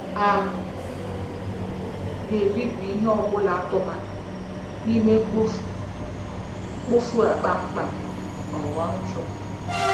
A ga-ebibi ihe ọ bụla a tụbara n'ime mkpofu mkpofu a kpamkpam, ghọọ ntụ.